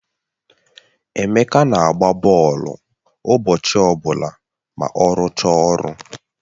Emeka na-agba bọọlụ ụbọchị ọbụla ma ọ rụchaa ọrụ